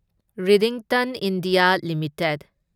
Redington India limited